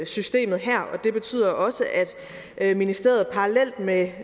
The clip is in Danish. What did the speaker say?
systemet her og det betyder også at ministeriet parallelt med